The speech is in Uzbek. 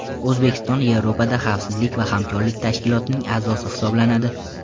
O‘zbekiston Yevropada xavfsizlik va hamkorlik tashkilotining a’zosi hisoblanadi.